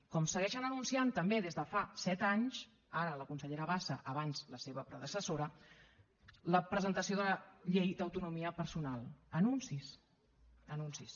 com segueixen anunciant també des de fa set anys ara la consellera bassa abans la seva predecessora la presentació de la llei d’autonomia personal anuncis anuncis